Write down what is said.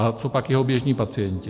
A co pak jeho běžní pacienti?